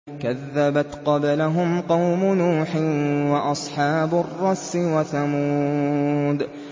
كَذَّبَتْ قَبْلَهُمْ قَوْمُ نُوحٍ وَأَصْحَابُ الرَّسِّ وَثَمُودُ